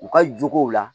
U ka jogow la